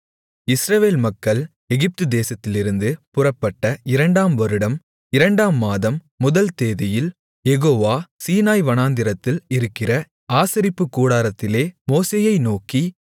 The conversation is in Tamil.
இஸ்ரவேல் மக்கள் எகிப்துதேசத்திலிருந்து புறப்பட்ட இரண்டாம் வருடம் இரண்டாம் மாதம் முதல் தேதியில் யெகோவா சீனாய் வனாந்திரத்தில் இருக்கிற ஆசரிப்புக் கூடாரத்திலே மோசேயை நோக்கி